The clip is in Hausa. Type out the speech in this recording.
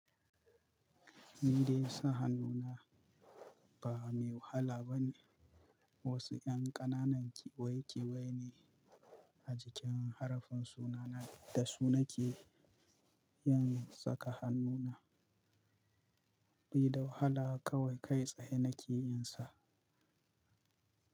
Indai sa hannuna ba mai wahala ba ne. Wasu 'yan ƙananan kewaye kewaye ne a jikin harafin sunana da su nake yin saka hannuna. Be da wahala kawai kai tsaye nake yin sa.